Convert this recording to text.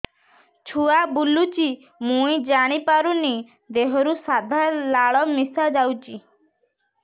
ଛୁଆ ବୁଲୁଚି ମୁଇ ଜାଣିପାରୁନି ଦେହରୁ ସାଧା ଲାଳ ମିଶା ଯାଉଚି